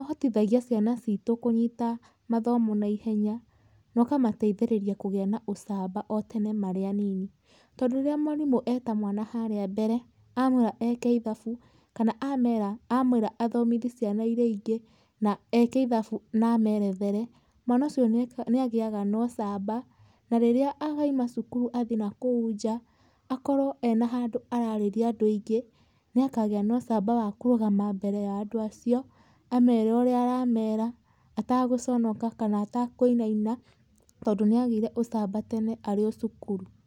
Kũhotithagia ciana citu kũnyita mathomo naihenya noũkamateithĩrĩria kũgĩa na ũcamba tene marĩ anini, tondũ rĩrĩa mwarimũ eta mwana haria mbere amwĩra eke ithabu kana amwĩra athomithie ciana irĩa ingĩ na eke ithabu na amerethere, mwana ucio nagĩaga na ũcamba, rĩrĩa arauma cukuru agathiĩ nakou njaa akorwo ena handũ ararĩria andũ aingĩ nĩakagĩa noũcamba wakũrũgama mbere wa andũ acio amere ũrĩa aramera atagũconoka kana atakũinana tondũ nĩagĩire ucamba tene arĩ o cukuru.